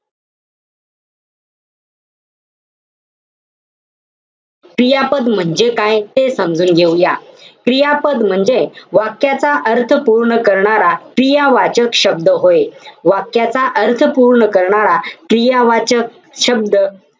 क्रियापद म्हणजे काय, ते समजून घेऊया. क्रियापद म्हणजे वाक्याचा अर्थ पूर्ण करणारा, क्रियावाचक शब्द होय. वाक्याचा अर्थ पूर्ण करणारा, क्रियावाचक शब्द,